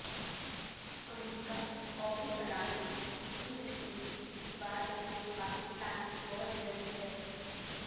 امریکی قومی سلامتی کی مشیر اتوار کو پاکستان پہنچ رہی ہیں